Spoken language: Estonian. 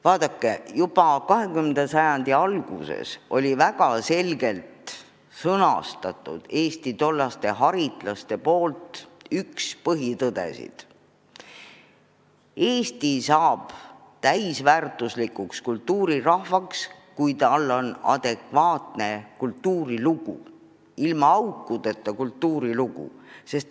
Vaadake, juba 20. sajandi alguses sõnastasid Eesti haritlased ühe põhitõdedest: Eesti saab täisväärtuslikuks kultuurirahvaks, kui tal on adekvaatne kultuurilugu, ilma aukudeta kultuurilugu.